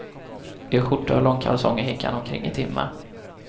I skjorta och långkalsonger gick han omkring i timmar.